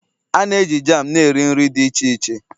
A na-eji jam na nri nri dị iche iche